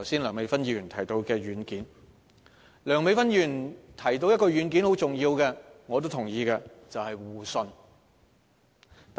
梁美芬議員剛才提到一個十分重要的軟件，這是我也同意的，即互信。